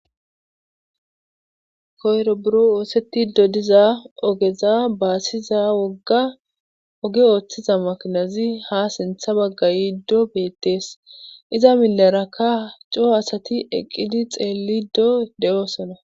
koyro buro oosetti dodiza ogeza baasiza wogga oge ooththiza makinazi ha sintha bagga yiiddo beettees iza milarakka coo asati eqqidi xeellido de7oosona